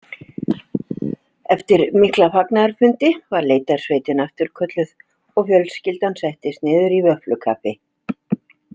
Eftir mikla fagnaðarfundi var leitarsveitin afturkölluð og fjölskyldan settist niður í vöfflukaffi.